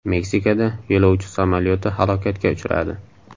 Meksikada yo‘lovchi samolyoti halokatga uchradi .